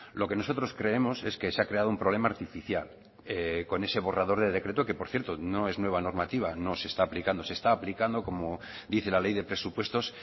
lo que nosotros creemos es que se ha creado un problema artificial con ese borrador de decreto que por cierto no es nueva normativa no se está aplicando se está aplicando como dice la ley de presupuestos